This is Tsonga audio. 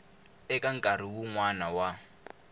eka nkarhi wun wana wa